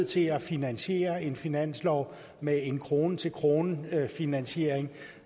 til at finansiere en finanslov med en krone til krone finansiering